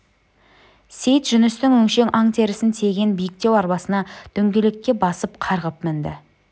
сейіт жүністің өңшең аң терісін тиеген биіктеу арбасына дөңгелекке басып қарғып мінді